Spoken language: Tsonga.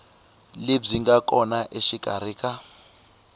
lebyi nga kona exikarhi ka